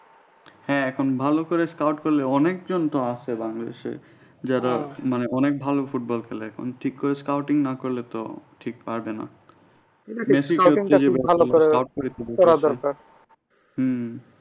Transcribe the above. হ্যাঁ এখন ভালো করে করলে অনেক জন তো আসে বাংলাদেশ এ যারা মানে অনেক ভালো football খেলে এখন ঠিক করে scouting না করলে তো ঠিক পারবে না হম